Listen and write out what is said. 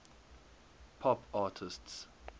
pop artists